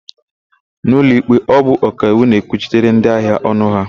N'ụlọikpe, ọ bụ ọkaiwu na-ekwuchitere ndịahịa ọnụ ha.